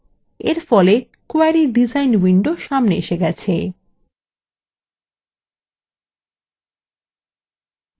এরফলে query design window সামনে এসে গেছে